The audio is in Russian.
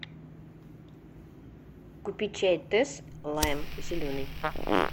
купи чай тесс лайм зеленый